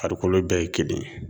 Farikolo bɛɛ ye kelen ye